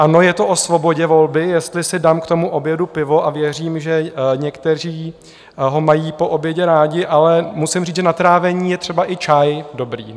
Ano, je to o svobodě volby, jestli si dám k tomu obědu pivo, a věřím, že někteří ho mají po obědě rádi, ale musím říct, že na trávení je třeba i čaj dobrý.